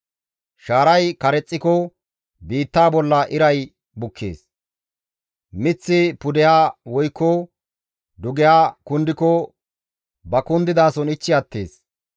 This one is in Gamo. Shaaray karexxiko biittaa bolla iray bukkees. Miththi pudeha woykko dugeha kundiko ba kundidason ichchi attees.